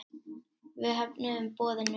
Við höfnuðum boðinu.